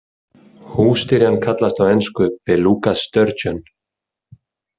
Hússtyrjan kallast á ensku Beluga sturgeon.